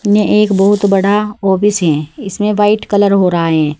यह एक बहुत बड़ा ऑफिस है इसमें व्हाइट कलर हो रहा है।